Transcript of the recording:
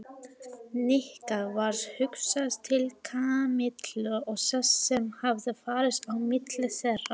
Nikka varð hugsað til Kamillu og þess sem hafði farið á milli þeirra.